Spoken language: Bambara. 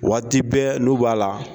Waati bɛ n'u b'a la